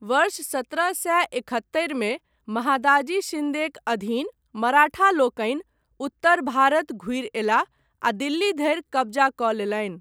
वर्ष सत्रह सए एकहत्तरि मे महादाजी शिन्देक अधीन मराठा लोकनि उत्तर भारत घुरि अयलाह आ दिल्ली धरि कब्जा कऽ लेलनि।